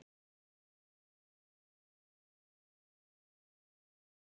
Skornir í tvennt.